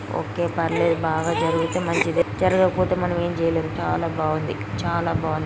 వోకే పర్లేదు.బాగా జరిగితే మంచిదే.జరగకపోతే మనం ఏం చెయ్యలేరు.చాలా బాగుంది చాలా బాగుంది.